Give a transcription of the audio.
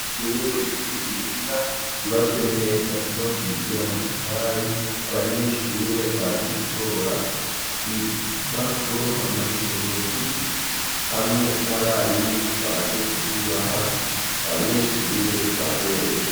Ishure ry'umuhinga Ryubatswe neza yubakijwe n'amatafari abanyeshure baje gutora impapuro mpamyabushobozi hamwe n'abarimu baje kuzibaha, abanyeshure baberewe.